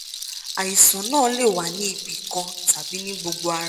àìsàn náà lè wà ní ibi kan tàbí ní gbogbo ara